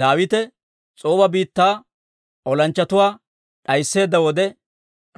Daawite S'ooba biittaa olanchchatuwaa d'aysseedda wode,